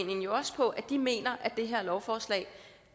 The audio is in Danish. jo også på at de mener at det her lovforslag